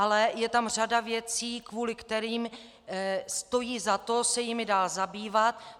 Ale je tam řada věcí, kvůli kterým stojí za to se jimi dál zabývat.